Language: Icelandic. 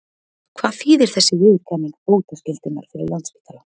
Hvað þýðir þessi viðurkenning bótaskyldunnar fyrir Landspítalann?